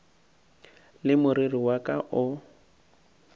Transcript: le moriri wa ka o